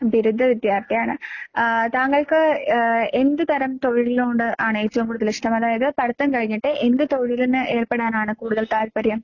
ബിരുദ വിദ്യാർത്ഥിയാണ്. ആഹ് താങ്കൾക്ക് ഏഹ് എന്ത് തരം തൊഴിലിനോട് ആണേറ്റവും കൂടുതലിഷ്ടം? അതായത് പഠിത്തം കഴിഞ്ഞിട്ട് എന്ത് തൊഴിലിന് ഏർപ്പെടാനാണ് കൂടുതൽ താല്പര്യം?